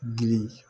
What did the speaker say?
Girin